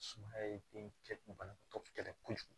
Sumaya ye den kɛ banabaatɔ kɛlɛ kojugu